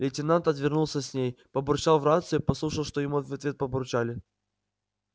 лейтенант отвернулся с ней побурчал в рацию послушал что ему в ответ побурчали